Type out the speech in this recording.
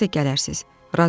Siz də gələrsiz.